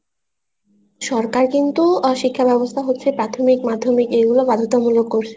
সরকার কিন্তু শিক্ষা ব্যবস্থা হচ্ছে প্রাথমিক মাধ্যমিক এই গুলা বাধ্যতামুলক করছে